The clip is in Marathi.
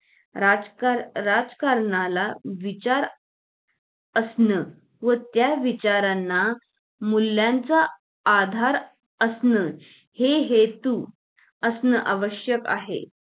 राजकारण राजकारणात असणं व त्या विचारणा मूल्यांचा आधार असणं हे हेतू असणं आवश्यक आहे